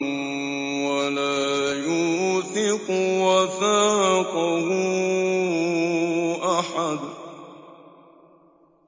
وَلَا يُوثِقُ وَثَاقَهُ أَحَدٌ